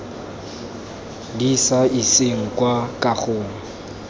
di sa iseng kwa kagong